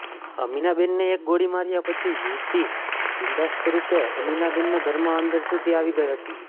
અમીનાબેનને એક ગોળી માર્યા પછી યુવતી બિંદાસ્તરૃપે અમીનાબેનના ઘરમાં અંદર સુધી આવી ગઈ હતી